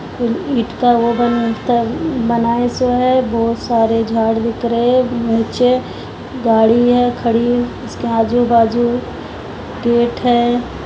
ईंट का वो बनात वो बनायो सा है बहुत सारे झाड़ दिख रहे है नीचे गाड़ी है खड़ी उसके आजू बाजू गेट है।